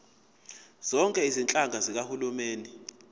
zonke izinhlaka zikahulumeni